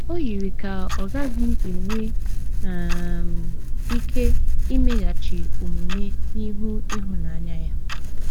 O yiri ka ọ gaghị enwe um ike imeghachi omume n’ihu ịhụnanya ya.